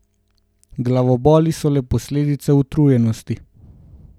Glavoboli so le posledica utrujenosti.